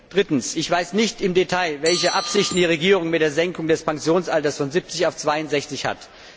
Drittens Ich weiß nicht im Detail, welche Absichten die Regierung mit der Senkung des Pensionsalters von 70 auf 62 hat.